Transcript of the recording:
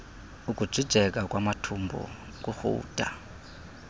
ukujijeka kwamathumbu nokurhuda